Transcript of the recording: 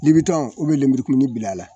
Libitɔn ubiyɛn lemurukumuni bila a la